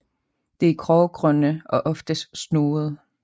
De er grågrønne og ofte snoede